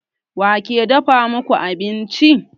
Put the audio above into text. Wa ke dafa muku abinci?